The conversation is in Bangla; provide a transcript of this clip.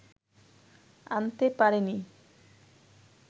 আনতে পারেনি